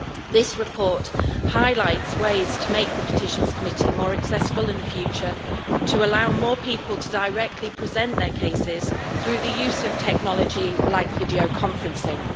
This report highlights ways to make the Petitions Committee more accessible in the future, to allow more people to directly present their cases through the use of technology, such as videoconferencing.